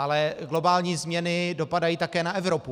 Ale globální změny dopadají také na Evropu.